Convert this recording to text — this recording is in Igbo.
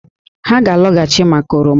Ha ga-alọghachị maka oroma